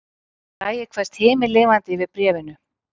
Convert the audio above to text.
Bragi kveðst himinlifandi yfir bréfinu